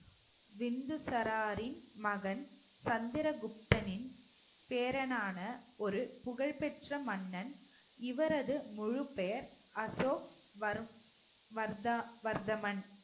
பிந்துசாரரின் மகன் சந்திரகுப்தனின் பேரனான ஒரு புகழ்பெற்ற மன்னன் இவரது முழுப்பெயர் அசோக் வர்~ வர்தா~ வர்தமன்